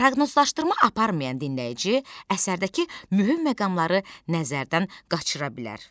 Proqnozlaşdırma aparmayan dinləyici əsərdəki mühüm məqamları nəzərdən qaçıra bilər.